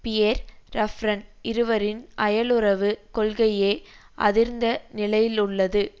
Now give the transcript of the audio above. Pierre Raffarin இருவரின் அயலுறவுக் கொள்கையே அதிர்ந்த நிலையிலுள்ளது